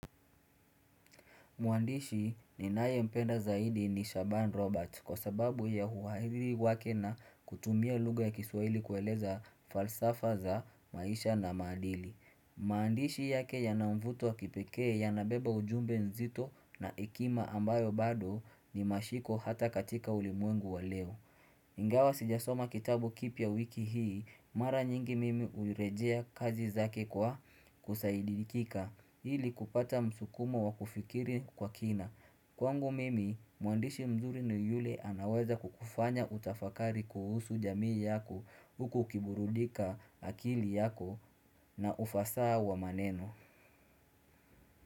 Mwandishi ninayempenda zaidi ni Shaban Robert kwa sababu ya uhariri wake na kutumia lugha ya kiswahili kueleza falsafa za maisha na maadili. Maandishi yake yana mvuto wa kipekee yanabeba ujumbe nzito na hekima ambayo bado ni mashiko hata katika ulimwengu wa leo. Ingawa sijasoma kitabu kipya wiki hii, mara nyingi mimi hurejea kazi zake kwa kusaidikika, ili kupata msukumo wa kufikiri kwa kina. Kwangu mimi, mwandishi mzuri ni yule anaweza kukufanya utafakari kuhusu jamii yako, huku ukiburudika akili yako na ufasa wa maneno.